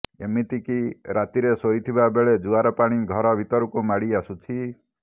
ଏମିତିକି ରାତିରେ ଶୋଇଥିବା ବେଳେ ଜୁଆର ପାଣି ଘର ଭିତରକୁ ମାଡ଼ି ଆସୁଛି